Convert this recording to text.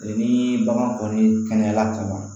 Ni bagan kɔni kɛnɛyara ka ban